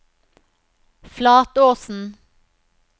Flatåsen